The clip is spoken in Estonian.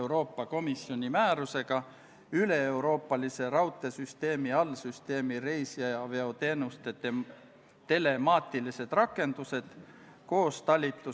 Riigikaitsekomisjon arutas eelnõu enne teisele lugemisele esitamist oma k.a 21. oktoobri istungil.